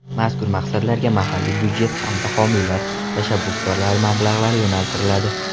Mazkur maqsadlarga mahalliy budjet hamda homiylar, tashabbuskorlar mablag‘lari yo‘naltiriladi.